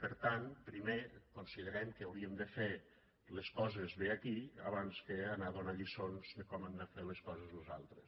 per tant primer considerem que hauríem de fer les coses bé aquí abans que anar a donar lliçons de com han de fer les coses los altres